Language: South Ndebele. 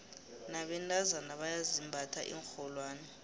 nabentazana bayazimbatha iinrholwane